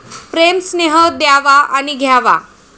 प्रेम, स्नेह द्यावा आणि घ्यावा.